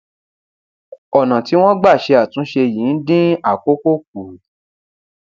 ọnà tí wọn gbà ṣe àtúnṣe yìí ń dín àkókò kù